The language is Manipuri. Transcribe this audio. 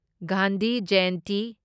ꯒꯥꯟꯙꯤ ꯖꯌꯟꯇꯤ